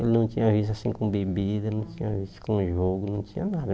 Ele não tinha vício assim com bebida, não tinha vício com jogo, não tinha nada.